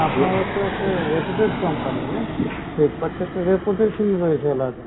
আপনারাও তো একটা reputed company না? Flipkart তো একটা reputation রয়েছে